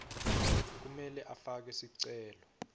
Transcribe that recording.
kumele afake sicelo